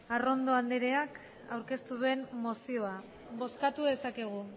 arrondo andreak aurkeztu duen mozioa bozkatu dezakegu